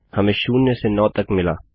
हमें 0 से 9 तक मिला